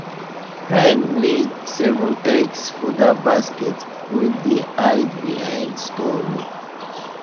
hen lay seven eggs for that basket wey dey hide behind storeroom